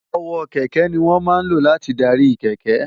ọwọ́ kẹ̀kẹ́ ni wọ́n máa ń lò láti darí kẹ̀kẹ́